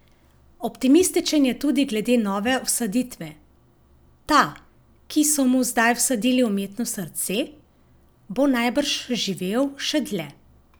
Optimističen je tudi glede nove vsaditve: "Ta, ki so mu zdaj vsadili umetno srce, bo najbrž živel še dlje.